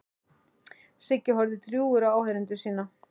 Siggi horfði drjúgur á áheyrendur sína.